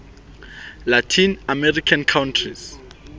latin american countries